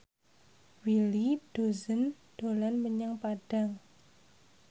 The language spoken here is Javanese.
Willy Dozan dolan menyang Padang